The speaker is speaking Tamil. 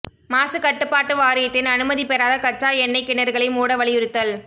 மாசுகட்டுப்பாட்டு வாரியத்தின் அனுமதி பெறாத கச்சா எண்ணெய்க் கிணறுகளை மூட வலியுறுத்தல்